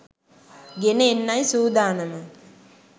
ගෙන එන්නයි සූදානම